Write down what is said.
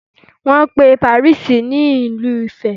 Wọ́n pe Paris ní Ìlú ìfẹ́.